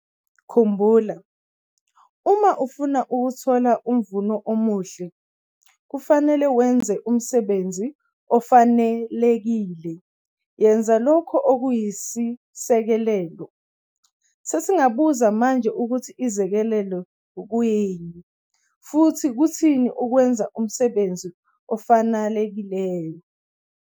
Khumbula, uma ufuna ukuthola umvuno omuhle, kufanele wenze umsebenzi ofanelekile - yenza lokhu okuyisekelo. Sesingabuza manje ukuthi izisekelo kuyini - futhi kuthini ukwenza umsebenzi ofanakeliyo?